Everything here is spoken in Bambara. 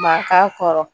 Maka kɔrɔ